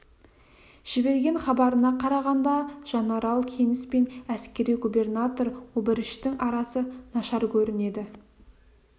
жіберген хабарына қарағанда жанарал кеніс пен әскери губернатор обыріштің арасы нашар көрінеді